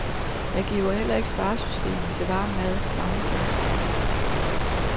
Jeg giver heller ikke sparesystemet til varm mad mange chancer.